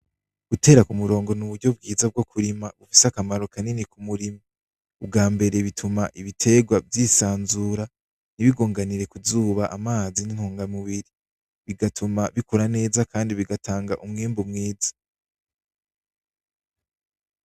Gutera k'umurongo n'uburyo bwiza bwo kurima bufise akamaro kanini k'umurimyi ubwambere bituma ibiterwa vyisanzura nti bigonganire ku zuba amazi ni intunga mubiri bigatuma bikura neza kandi bigatanga umwimbu mwishi.